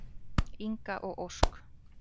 Inga og Ósk.